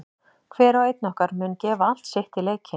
Hver og einn okkar mun gefa allt sitt í leikinn.